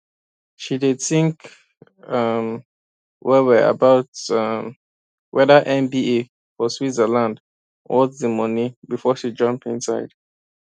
she dey think um wellwell about um wether mba for switzerland worth the money before she jump inside